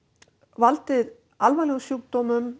valdið alvarlegum sjúkdómum